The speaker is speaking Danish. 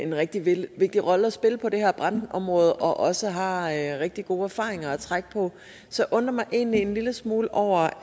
en rigtig vigtig rolle at spille på det her brandområde og også har rigtig gode erfaringer at trække på så jeg undrer mig egentlig en lille smule over